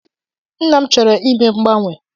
Nna m chọrọ ime mgbanwe.